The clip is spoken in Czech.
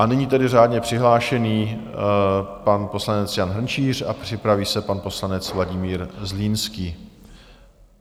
A nyní tedy řádně přihlášený pan poslanec Jan Hrnčíř a připraví se pan poslanec Vladimír Zlínský.